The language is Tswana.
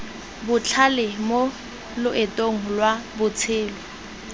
botlhale mo loetong lwa botshelo